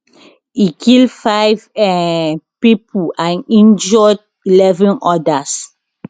e kill five um pipo and injure eleven odas